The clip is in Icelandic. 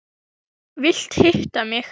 Vilt hitta mig.